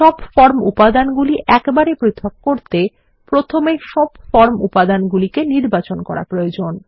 সব ফর্ম উপাদানগুলি একবারে পৃথক করতে প্রথমে সমস্ত ফর্ম উপাদানগুলি নির্বাচন করা প্রয়োজন